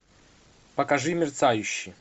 покажи мерцающий